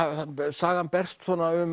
sagan berst